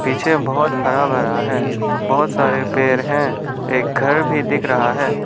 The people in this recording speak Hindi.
पीछे बहुत हरा भरा है बहुत सारे पेड़ हैं एक घर भी दिख रहा है।